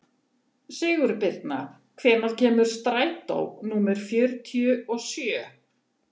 Sigurbirna, hvenær kemur strætó númer fjörutíu og sjö?